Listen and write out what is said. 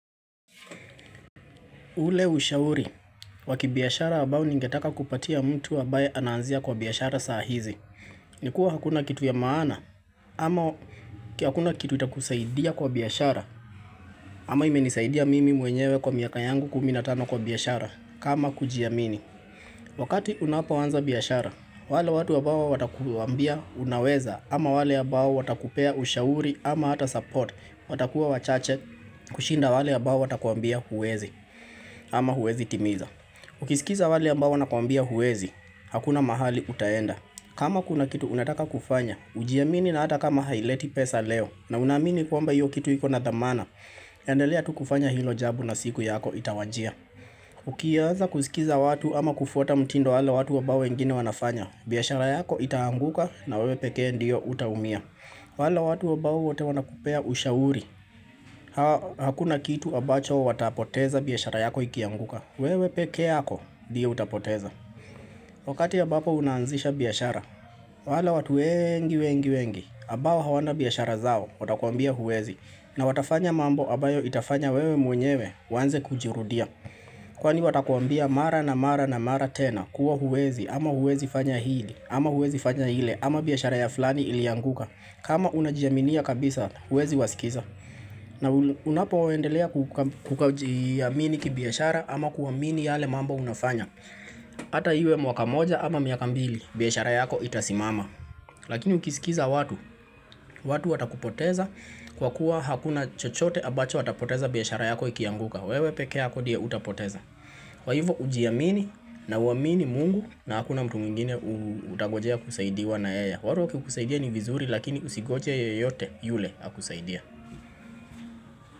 Ule ushauri, wa kibiashara ambao ningetaka kupatia mtu ambaye ananzia kwa biashara saa hizi. Nikuwa hakuna kitu ya maana, ama hakuna kitu itakusaidia kwa biashara, ama imenisaidia mimi mwenyewe kwa miaka yangu kumi na tano kwa biashara, kama kujiamini. Wakati unapoanza biashara, wale watu ambao watakuambia unaweza, ama wale ambao watakupea ushauri ama hata support, watakuwa wachache kushinda wale ya ambao watakuambia huwezi ama huwezi timiza. Ukisikiza wale ambao wanakuambia huwezi, hakuna mahali utaenda. Kama kuna kitu unataka kufanya, ujiamini na hata kama haileti pesa leo na unaamini kwamba hiyo kitu hiko nadhamana. Endelea tu kufanya hilo jambo na siku yako itawajia. Ukianza kusikiza watu ama kufuata mtindo wale watu ambao wengine wanafanya. Biashara yako itaanguka na wewe pekee ndio utaumia. Wale watu ambao wote wanakupea ushauri Hakuna kitu ambacho watapoteza biashara yako ikianguka wewe peke yako ndiye utapoteza Wakati ambapo unaanzisha biashara wale watu wengi wengi wengi ambao hawana biashara zao Watakuambia huwezi na watafanya mambo ambayo itafanya wewe mwenyewe uanze kujirudia Kwani watakuambia mara na mara na mara tena kuwa huwezi ama huwezi fanya hii ama huwezi fanya ile ama biyashara ya fulani ilianguka kama unajiaminia kabisa, huwezi wasikiza. Na unapoendelea kujiamini kibiashara ama kuamini yale mambo unafanya. Ata iwe mwaka moja ama miaka mbili, biashara yako itasimama. Lakini ukisikiza watu, watu watakupoteza kwa kuwa hakuna chochote ambacho watapoteza biashara yako ikianguka. Wewe peke yako ndiye utapoteza. Kwa hivyo ujiamini na uwamini mungu na hakuna mtu mwingine utangojea kusaidiwa na yeye. Wale wakikusaidia ni vizuri lakini usingoje yeyote yule akusaidie.